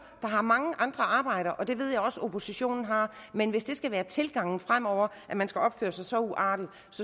der har mange andre arbejder og det ved jeg også oppositionen har men hvis det skal være tilgangen fremover at man skal opføre sig så uartigt